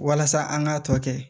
Walasa an k'a tɔ kɛ